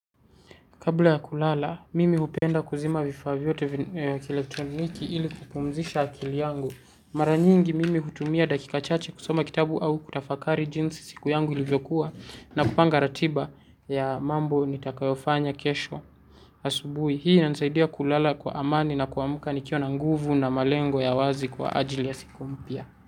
Kabla ya kulala, mimi hupenda kuzima vifaa vyote vya kielektroniki ili kupumzisha akili yangu. Mara nyingi mimi hutumia dakika chache kusoma kitabu au kutafakari jinsi siku yangu ilivyokuwa na kupanga ratiba ya mambo nitakayofanya kesho asubuhi. Hii inanisaidia kulala kwa amani na kuamuka nikiwa na nguvu na malengo ya wazi kwa ajili ya siku mpya.